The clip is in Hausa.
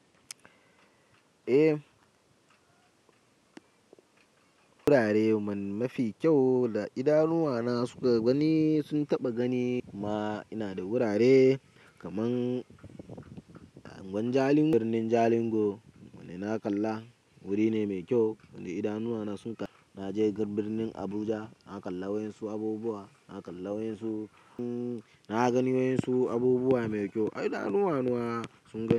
Eh, wurare mafi kyau da idanuwana suka gani sun taɓa gani kuma ina da wurare kaman gwan Jalingo, birnin Jalingo wanda na kalla wuri ne mai kyau wanda idanuwana sun kalla. Na je garin birnin Abuja na kalla wa yanzu abubuwa, na kalla wa yanzu, na gani wa insu abubuwa mai kyau idanuwana sun gani.